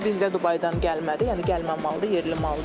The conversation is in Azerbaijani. Bu bizdə Dubaydan gəlmədi, yəni gəlmə maldır, yerli mal deyil.